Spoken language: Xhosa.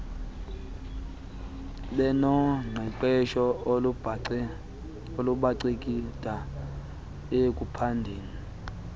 benoqeqesho olubanceda ekuphandeni